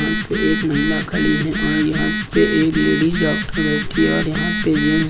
यहा पे एक महिला खड़ी है और यहां पे एक लेडिज डॉक्टर बैठी और यहां पे जेंट्स --